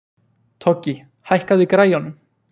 Toggi, hækkaðu í græjunum.